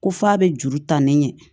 Ko f'a bɛ juru ta ne ɲɛ